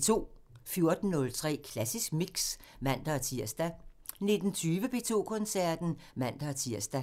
14:03: Klassisk Mix (man-tir) 19:20: P2 Koncerten (man-tir)